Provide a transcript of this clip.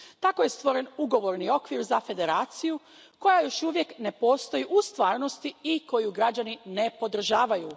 Tako je stvoren ugovorni okvir za federaciju koja još uvijek ne postoji u stvarnosti i koju građani ne podržavaju.